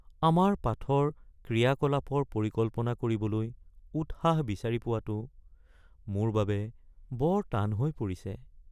আমাৰ পাঠৰ বাবে ক্ৰিয়াকলাপৰ পৰিকল্পনা কৰিবলৈ উৎসাহ বিচাৰি পোৱাটো মোৰ বাবে বৰ টান হৈ পৰিছে।